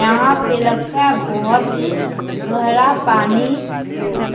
यहाँ पे लगता है बोहोत ही गहरा पानी हो।